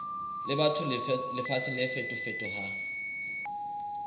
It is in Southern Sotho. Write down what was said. le batho lefatsheng le fetofetohang